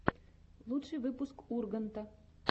лучший выпуск урганта